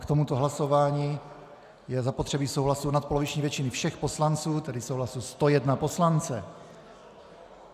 K tomuto hlasování je zapotřebí souhlasu nadpoloviční většiny všech poslanců, tedy souhlasu 101 poslance.